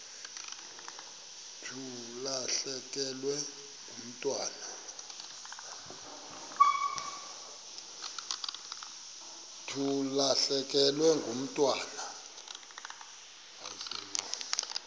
thi ulahlekelwe ngumntwana